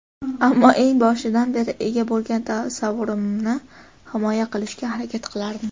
Ammo eng boshidan beri ega bo‘lgan tasavvurimni himoya qilishga harakat qilardim.